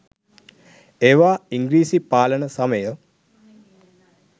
ඒවා ඉංග්‍රීසි පාලන සමය